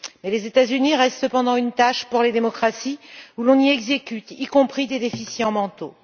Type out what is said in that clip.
Les États Unis restent cependant une tache pour les démocraties, car on y exécute, y compris des déficients mentaux.